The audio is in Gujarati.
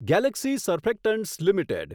Galaxy surfactants limited